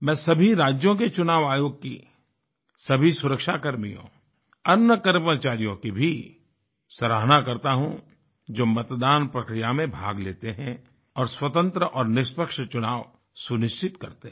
मैं सभी राज्यों के चुनाव आयोग की सभी सुरक्षा कर्मियों अन्य कर्मचारियों की भी सराहना करता हूँ जो मतदान प्रक्रिया में भाग लेते हैं और स्वतन्त्र और निष्पक्ष चुनाव सुनिश्चित करते हैं